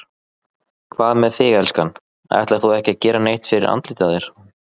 Hvað með þig, elskan. ætlar þú ekki að gera neitt fyrir andlitið á þér?